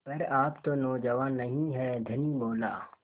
पर आप तो नौजवान नहीं हैं धनी बोला